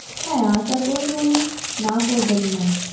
হ্যাঁ আশা করি উনি না করবেন না